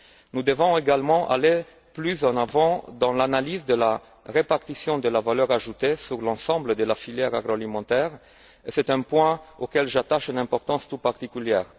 Nous devons également aller plus avant dans l'analyse de la répartition de la valeur ajoutée dans l'ensemble de la filière agroalimentaire c'est un point auquel j'attache une importance toute particulière.